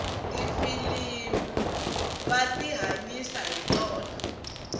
tifilimu va tihanyisa hi tona